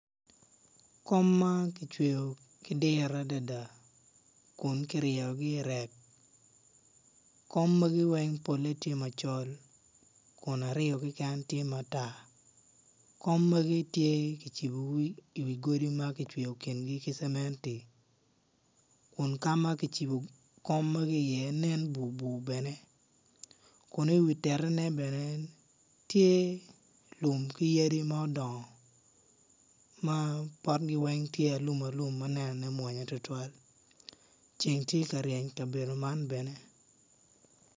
Kom man kicweyo ki diro adada kun kiryeyogi i rek kom magi weng pole tye macol kun aryo keken tye matar kom magi tye kicibbogi iwi godi ma kicweyo kingi kic cementi kun kama kicibo kom magi iye nen bur bur bene kuniwi titiine bene tye lum ki yadi mudongo ma potgi weng tye alum alum ma nenone mwonya tutwal ceng tye kareyeny kabedo man bene